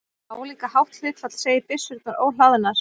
Álíka hátt hlutfall segir byssurnar óhlaðnar.